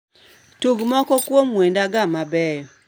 Tug moko kuom wendega mabeyo